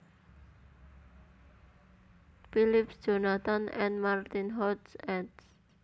Phillips Jonathan and Martin Hoch eds